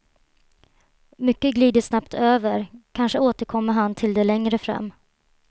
Mycket glider han snabbt över, kanske återkommer han till det längre fram.